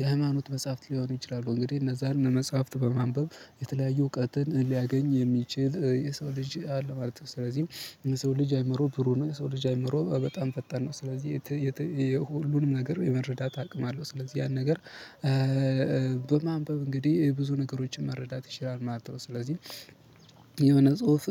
የሃይማኖት መጽሐፍት ሊሆን ይችላሉ። እንግዲህ እነዛን መጽሐፍት በማንበብ የተለያዩ እውቀትን ሊያገኝ የሚችል የሰው ልጅ አለ ማለት ነው። ስለዚህ የሰው ልጅ አይምሮ ብሩ ነው። የሰው ልጅ አይምሮ በጣም ፈጣን ነው። ስለዚህ የሁሉንም ነገር የመረዳት አቅም አለው። ስለዚህ ያን ነገር በማንበብ እንግዲህ ብዙ ነገሮችን መረዳት ይችላል ማለት ነው። ስለዚህ የሆነ ጽሁፍ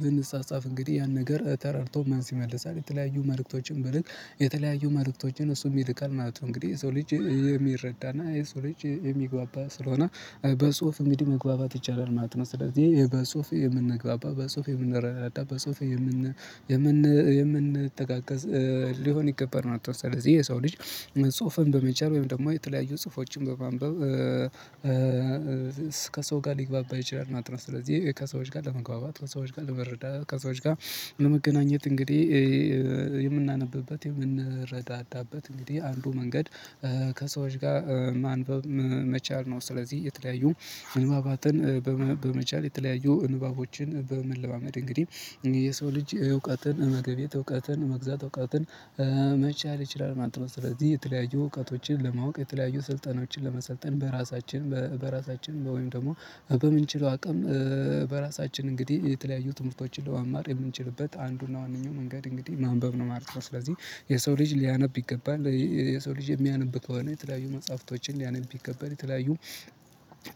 ብንጻጻፍ እንግዲህ ያን ነገር ተረድቶ መልስ ይመልሳል። የተለያዩ መልእክቶችን ብልክ የተለያዩ መልእክቶችን እሱም ይልካል ማለት ነው። እንግዲህ ሰው ልጅ የሚረዳና የሰው ልጅ የሚግባባ ስለሆነ በጽሁፍ እንግዲህ መግባባት ይቻላል ማለት ነው። ስለዚህ በጽሁፍ የምንግባባ በጽሁፍ የምንረዳዳ በጽሁፍ የምን የምን የምን የምንተጋገዝ ሊሆን ይገባል ማለት ነው። ስለዚህ የሰው ልጅ ጽሁፍን በመቻል ወይም ደግሞ የተለያዩ ጽሁፎችን በማንበብ ከሰው ጋር ሊግባባ ይችላል። እናት ነው ስለዚህ ከሰዎች ጋር ለመግባባት ከሰዎች ጋር ለመረዳት ከሰዎች ጋር ለመገናኘት እንግዲህ የምናነብበት የምንረዳዳበት እንግዲህ አንዱ መንገድ ከሰዎች ጋር ማንበብ መቻል ነው። ስለዚህ የተለያዩ ንባባትን በመቻል የተለያዩ ንባቦችን በመለማመድ እንግዲህ የሰው ልጅ እውቀትን መገብየት እውቀትን መግዛት እውቀትን መቻል ይችላል ማለት ነው። ስለዚህ የተለያዩ እውቀቶችን ለማወቅ የተለያዩ ስልጠናዎችን ለመሰልጠን በራሳችን በራሳችን ወይም ደግሞ በምንችለው አቅም በራሳችን እንግዲህ የተለያዩ ትምህርቶችን ለማማር የምንችልበት አንዱና ዋነኛው መንገድ እንግዲህ ማንበብ ነው ማለት ነው። ስለዚህ የሰው ልጅ ሊያነብ ይገባል የሰው ልጅ የሚያነብ ከሆነ የተለያዩ መጽሐፍቶችን ሊያነብ ይከበር የተለያዩ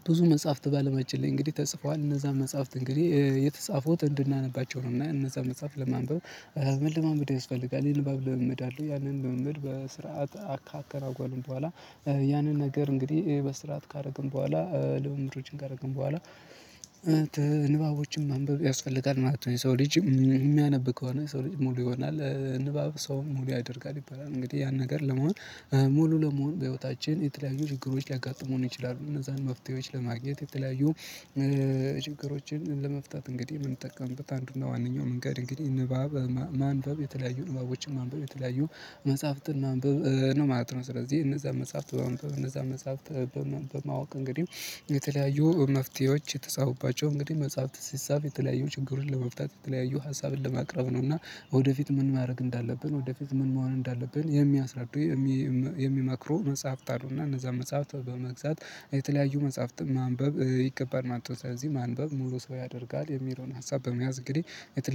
ብዙ መጽሐፍት ባለማችን ላይ እንግዲህ ተጽፏል እነዛን መጽሐፍት እንግዲህ የተጻፉት እንድናነባቸው ነው። እና እነዛን መጽሐፍ ለማንበብ መለማመድ ያስፈልጋል። ያንን ለማንበብ ለመመድ አለው ያንን ለመመድ በስርዓት አካካል አውቀን በኋላ ያንን ነገር እንግዲህ በስርዓት ካደረግን በኋላ ልምምዶችን ካደረግን በኋላ ንባቦችን ማንበብ ያስፈልጋል ማለት ነው። የሰው ልጅ የሚያነብ ከሆነ የሰው ልጅ ሙሉ ይሆናል። ንባብ ሰውን ሙሉ ያደርጋል ይባላል። እንግዲህ ያን ነገር ለመሆን ሙሉ ለመሆን በህይወታችን የተለያዩ ችግሮች ሊያጋጥሙን ይችላሉ። እነዛን መፍትሄዎች ለማግኘት የተለያዩ ችግሮችን ለመፍታት እንግዲህ የምንጠቀምበት አንዱና ዋነኛው መንገድ እንግዲህ ንባብ ማንበብ የተለያዩ ንባቦችን ማንበብ የተለያዩ መጽሐፍትን ማንበብ ነው ማለት ነው። ስለዚህ እነዛን መጽሐፍት እነዛ በማንበብ በማወቅ እንግዲህ የተለያዩ መፍትሄዎች የተጻፉባቸው እንግዲህ መጽሐፍት ሲጻፍ የተለያዩ ችግሩን ለመፍታት የተለያዩ ሀሳብን ለማቅረብ ነው። እና ወደፊት ምን ማድረግ እንዳለብን ወደፊት ምን መሆን እንዳለብን የሚያስረዱ የሚመክሩ መጽሐፍት አሉና እነዛ መጽሐፍት በመግዛት የተለያዩ መጽሐፍትን ማንበብ ይ ከባድ ማለት ነው። ስለዚህ ማንበብ ሙሉ ሰው ያደርጋል የሚለውን ሀሳብ በመያዝ እንግዲህ የተለያየ